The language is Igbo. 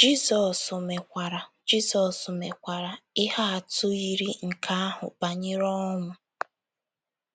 Jizọs mekwara Jizọs mekwara ihe atụ yiri nke ahụ banyere ọnwụ.